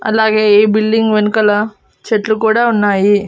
అలాగే ఈ బిల్డింగ్ వెనకాల చెట్లు కూడా ఉన్నాయి.